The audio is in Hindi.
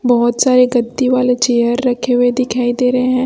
बहोत सारे गद्दी वाले चेयर रखे हुए दिखाई दे रहे हैं।